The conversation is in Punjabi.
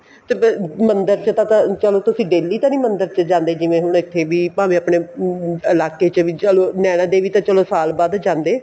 ਤੇ ਮੰਦਰ ਚ ਤਾਂ ਚਲੋ ਤੁਸੀਂ daily ਤਾਂ ਨੀ ਮੰਦਰ ਚ ਜਾਂਦੇ ਜਿਵੇਂ ਹੁਣ ਇੱਥੇ ਵੀ ਭਾਵੇ ਆਪਣੇ ਇਲਾਕੇ ਚ ਨੈਣਾ ਦੇਵੀ ਤਾਂ ਚਲੋ ਸਾਲ ਬਾਅਦ ਜਾਂਦੇ